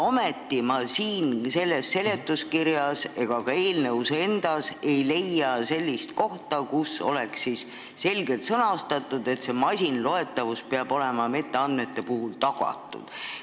Ometi ei leia ma seletuskirjas ega ka eelnõus endas sellist kohta, kus oleks selgelt sõnastatud, et masinloetavus peab olema metaandmete puhul tagatud.